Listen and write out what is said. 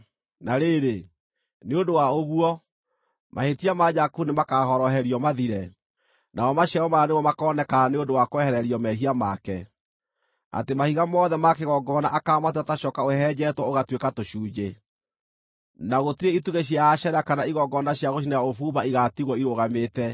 Na rĩrĩ, nĩ ũndũ wa ũguo, mahĩtia ma Jakubu nĩmakahoroherio mathire, namo maciaro maya nĩmo makoonekana nĩ ũndũ wa kwehererio mehia make: Atĩ mahiga mothe ma kĩgongona akaamatua ta coka ũhehenjetwo ũgatuĩka tũcunjĩ, na gũtirĩ itugĩ cia Ashera kana igongona cia gũcinĩra ũbumba igaatigwo irũgamĩte.